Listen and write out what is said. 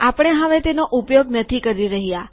આપણે હવે તેનો ઉપયોગ નથી કરી રહ્યા